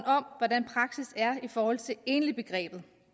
om hvordan praksis er i forhold til enligbegrebet